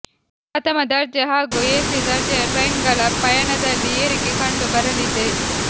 ಪ್ರಥಮ ದರ್ಜೆ ಹಾಗೂ ಎಸಿ ದರ್ಜೆಯ ಟ್ರೈನ್ಗಳ ಪಯಣದಲ್ಲಿ ಏರಿಕೆ ಕಂಡು ಬರಲಿದೆ